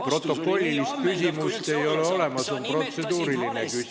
Protokollilist küsimust ei ole olemas, on protseduuriline küsimus.